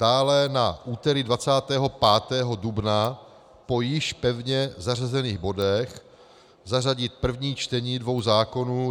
Dále na úterý 25. dubna po již pevně zařazených bodech zařadit první čtení dvou zákonů.